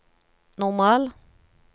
normal